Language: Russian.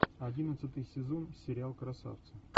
одиннадцатый сезон сериал красавцы